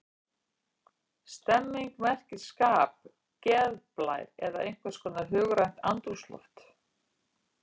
Stemning merkir skap, geðblær eða einhvers konar hugrænt andrúmsloft.